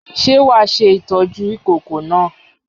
Ṣé wàá ṣe ìtọ́jú ìkókó náà?